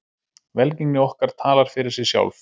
Velgengni okkar talar fyrir sig sjálf.